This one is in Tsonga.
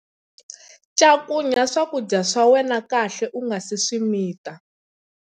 Cakunya swakudya swa wena kahle u nga si swi mita.